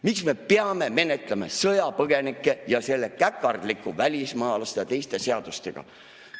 " Miks me peame menetlema sõjapõgenikke selle käpardliku välismaalaste ja teiste seadustega?